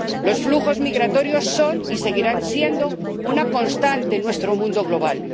Los flujos migratorios son y seguirán siendo una constante en nuestro mundo global.